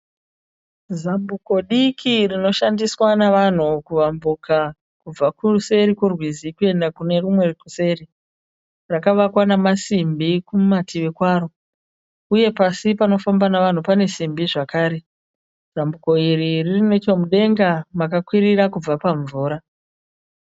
Zambuko diki rinoshandiswa navanhu kuwambuka kubva kuseri kworwizi kuenda kune rumwe kuseri, rakavakwa namasimbi kumativi kwaro uye pasi panofamba navanhu pane simbi zvakare zambuko iri riri nechomudenga makakwirira kubva pamvura.